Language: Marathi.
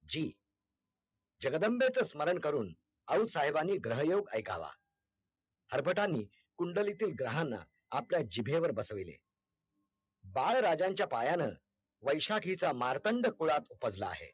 जगदंबेच स्मरण करून आऊसाहेबांनी ग्रहयोग ऐकावा हरबतांनी कुंडलीतील ग्रहांना आपल्या जिभेवर बसविले, बाळ राजांच्या पायान वैशाखीचा मार्तंड खुळात पडला आहे